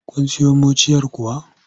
Kun siyo muciyar kuwa?